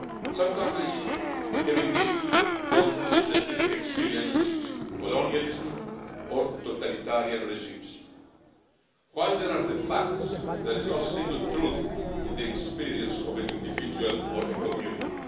Some countries have gone through specific experiences with colonialism or totalitarian regimes while there are the facts, there is no single truth in the experience of an individual or a community.